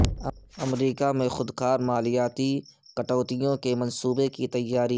امریکہ میں خود کار مالیاتی کٹوتیوں کے منصوبے کی تیاری